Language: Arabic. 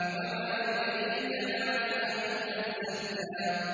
وَمَا يُدْرِيكَ لَعَلَّهُ يَزَّكَّىٰ